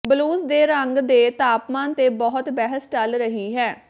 blues ਦੇ ਰੰਗ ਦੇ ਤਾਪਮਾਨ ਤੇ ਬਹੁਤ ਬਹਿਸ ਚੱਲ ਰਹੀ ਹੈ